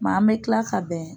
an mɛ kila ka bɛn.